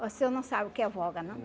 Você não sabe o que é voga, não?